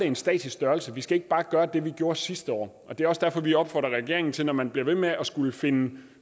en statisk størrelse vi skal ikke bare gøre det vi gjorde sidste år det er også derfor at vi opfordrer regeringen til når man bliver ved med at skulle finde